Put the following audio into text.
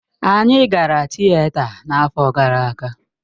Anyị gara Tịeta n'afọ gara aga.